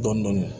Dɔndɔni